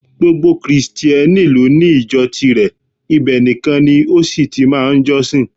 Gbogbo Krìsìtẹ́nì lóní ìjọ tirẹ̀, ibẹ̀ nìkan ni ó sì ti máa ń jọ́sìn